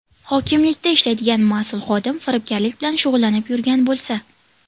Hokimlikda ishlaydigan mas’ul xodim firibgarlik bilan shug‘ullanib yurgan bo‘lsa.